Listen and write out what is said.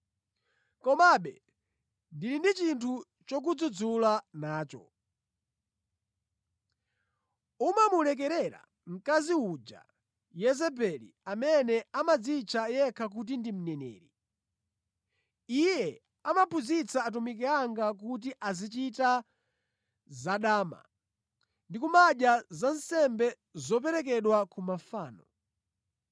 Komabe ndili ndi chinthu chokudzudzula nacho. Umamulekerera mkazi uja Yezebeli amene amadzitcha yekha kuti ndi mneneri. Iye amaphunzitsa atumiki anga kuti azichita zadama ndi kumadya zansembe zoperekedwa ku mafano.